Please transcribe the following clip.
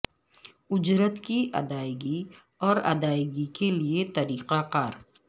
اجرت کی ادائیگی اور ادائیگی کے لئے طریقہ کار